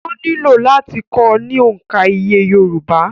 Wọ́n nílò láti kọ́ ọ ní òǹkà iye yorùbá